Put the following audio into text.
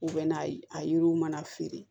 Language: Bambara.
U bɛ na ye a yiriw mana feere